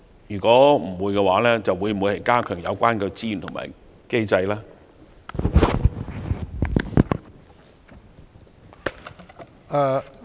如果沒有，會否加強有關資源和機制？